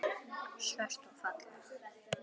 Svört og falleg.